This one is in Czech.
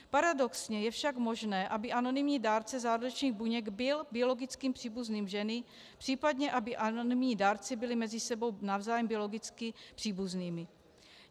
Paradoxně je však možné, aby anonymní dárce zárodečných buněk byl biologickým příbuzným ženy, případně aby anonymní dárci byli mezi sebou navzájem biologicky příbuznými.